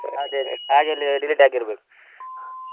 Delete ಆಗಿರ್ಬೇಕು.